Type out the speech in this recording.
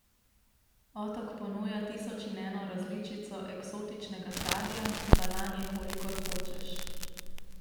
Otok ponuja tisoč in eno različico eksotičnega sadja, banan je kolikor hočeš...